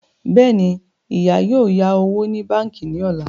Bẹ́ẹ̀ni, ìyá yóò yá owó ní báńkì ní ọ̀la